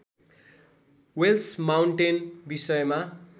Wales Mountain विषयमा